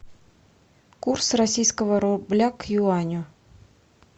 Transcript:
курс российского рубля к юаню